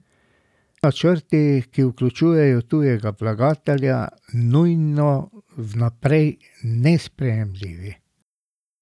Niso pa vsi načrti, ki vključujejo tujega vlagatelja, nujno vnaprej nesprejemljivi!